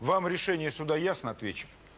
вам решение суда ясно ответчик